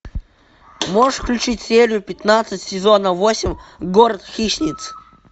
можешь включить серию пятнадцать сезона восемь город хищниц